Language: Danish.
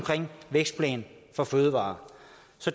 vækstplan for fødevarer